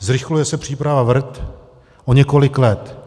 Zrychluje se příprava VRT o několik let.